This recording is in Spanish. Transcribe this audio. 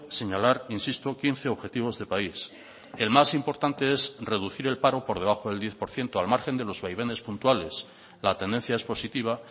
señalar insisto quince objetivos de país el más importante es reducir el paro por debajo del diez por ciento al margen de los vaivenes puntuales la tendencia es positiva